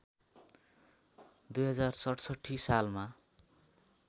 २०६७ सालमा